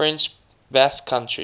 french basque country